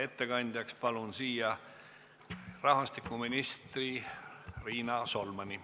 Ettekandjaks palun siia rahvastikuminister Riina Solmani.